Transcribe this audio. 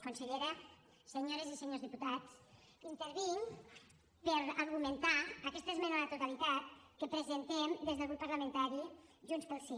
consellera senyores i senyors diputats intervinc per argumentar aquesta esmena a la totalitat que presentem des del grup parlamentari junts pel sí